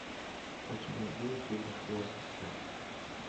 у тебя будет любовь в ссср